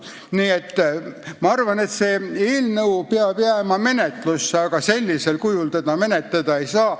Nii et ma arvan, et see eelnõu peab jääma menetlusse, aga sellisel kujul teda menetleda ei saa.